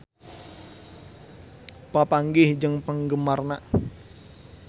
Chris Hemsworth papanggih jeung penggemarna